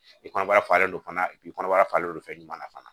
I kɔnɔbara falen don fana i kɔnɔbara falenlen don fɛn ɲuman na fana